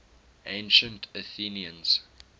ancient athenians